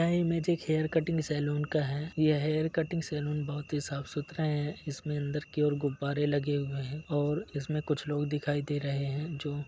यह इमेज एक hair cutting salon का है। यह हेयर कटिंग सैलून बहुत ही साफ सुथरा है इसमें अंदर की और गुब्बारें लगे हुए हैं और इसमें कुछ लोग दिखाई दे रहें हैं जो --